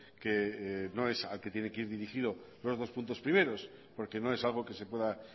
que no es al que tiene que ir dirigido los dos puntos primeros porque no es algo que se pueda